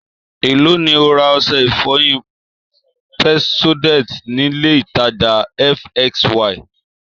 Èló ni o ra ọṣẹ ìfọyín Pepsodent nílé ìtajà fsy?